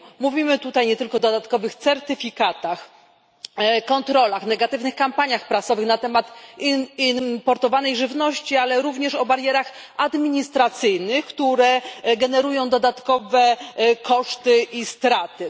Mówimy tutaj nie tylko o dodatkowych certyfikatach, kontrolach, negatywnych kampaniach prasowych na temat importowanej żywności, ale również o barierach administracyjnych, które generują dodatkowe koszty i straty.